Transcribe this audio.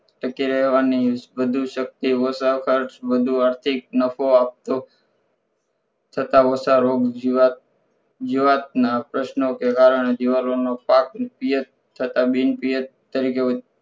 ટકી રહેવાની વધૂ સકતી ઓછો ખર્ચ વધુ આર્થિક નફો આપતો થતાં વસારોગ જીવાત જીવાતના પ્રશ્નો કે કારણો દિવેલાનો પાક પીઍફ થતાં બિનપએફ તરીકે